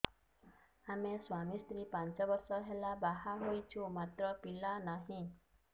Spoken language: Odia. ଆମେ ସ୍ୱାମୀ ସ୍ତ୍ରୀ ପାଞ୍ଚ ବର୍ଷ ହେଲା ବାହା ହେଇଛୁ ମାତ୍ର ପିଲା ନାହିଁ